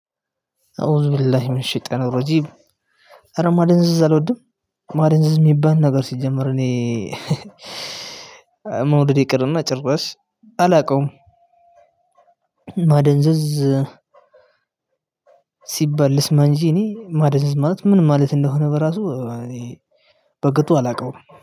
አኡዙቢላሂ ሚነሸይጧንረጅም ኧረ ማደንዘዝ አልወድም። ማደንዘዝ የሚባል ነገር ሲጀመር እኔ መውደድ ይቅርና ጭራሽ አላቀውም። ማደንዘዝ ሲባል ልስማንጅ እኔ ማደንዘዝ ማለት ምን ማለት እንደሆነ በራሱ። በቅጡ አላቀውም